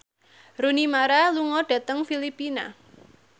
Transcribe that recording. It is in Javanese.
Rooney Mara lunga dhateng Filipina